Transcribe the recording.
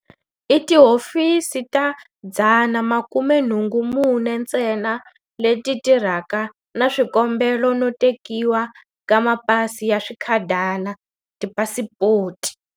I tihofisi ta 184 ntsena leti tirhanaka na swikombelo no tekiwa ka mapasi ya swikhadana, tipasipoti.